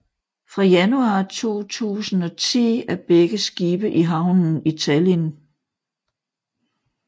Fra januar 2010 er begge skibe i havnen i Tallinn